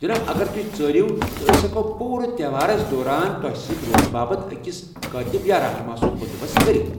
جناب، اگر تُہۍ ژٲرِیو ، تہٕ ٲسۍ ہیٚکو پوٗرٕ تہوارَس دوران تۄہہِ سۭتۍ روزنہٕ باپت اکس کٲتِب یا رہنما سُنٛد بندوبست کٔرِتھ۔